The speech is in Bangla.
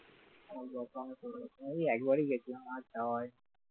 ওই একবারই দেখলাম আর যাওয়া হয়নি